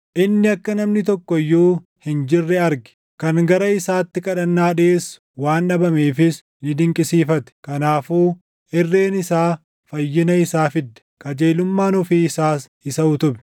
Inni akka namni tokko iyyuu hin jirre arge; kan gara isaatti kadhannaa dhiʼeessu waan dhabameefis // ni dinqisiifate. Kanaafuu irreen isaa fayyina isaa fidde; qajeelummaan ofii isaas isa utube.